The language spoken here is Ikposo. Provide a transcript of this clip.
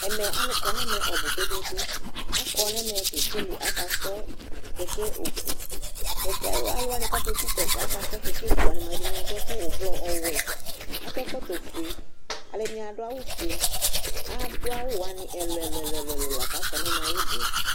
Ɛmɛ alʋ kɔ nʋ ɛmɛ ɔbʋ kpe-kpe-kpe Akɔ nʋ ɛmɛ kekele akasrɔ kɛkɛ oku Kɛkɛ ɔ alʋ wanɩ kʋ akeku kɛkɛ akasrɔ kɛkɛ eku wanɩ mʋa, ɛdɩnɩ adʋ ɛkʋ ʋblɔ, ɔwɛ Akɔ ɛkɔtɔfue, alʋɛdɩnɩ adʋ awʋfue, adʋ awʋ wanɩ ɛlʋ-ɛlʋ la kʋ akɔ nʋ ɛmɛ, ɩbʋ yɛ